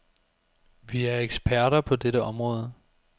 Vi er eksperter på dette område.